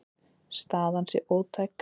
Staðan sé ótæk.